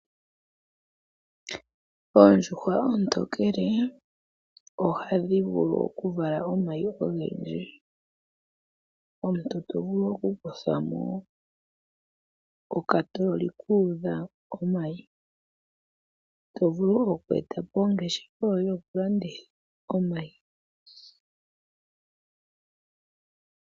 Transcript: Oondjuhwa oontokele ohadhi vulu okuvala omayi ogendji. Omuntu to vulu okukutha mo okatoololi ku udha omayi. To vulu oku eta po ongeshefa yokulanditha omayi.